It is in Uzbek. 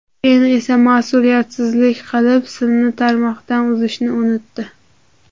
Keyin esa mas’uliyatsizlik qilib, simni tarmoqdan uzishni unutdi.